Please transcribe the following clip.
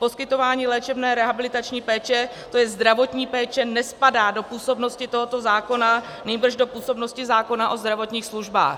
Poskytování léčebné rehabilitační péče, to je zdravotní péče, nespadá do působnosti tohoto zákona, nýbrž do působnosti zákona o zdravotních službách.